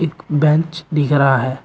एक बेंच दिख रहा है।